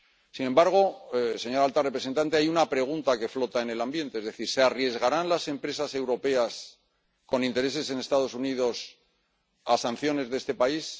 Sin embargo, señora alta representante, hay una pregunta que flota en el ambiente ¿Se arriesgarán las empresas europeas con intereses en Estados Unidos a sanciones de este país?